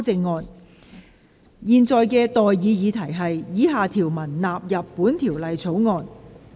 我現在向各位提出的待議議題是：以下條文納入本條例草案。